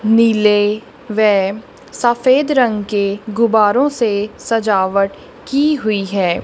नील वे सफेद रंग के गुब्बरों से सजावट की हुई हैं।